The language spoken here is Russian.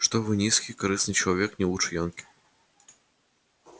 что вы низкий корыстный человек не лучше янки